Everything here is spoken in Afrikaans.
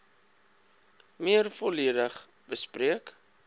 meer volledig bespreek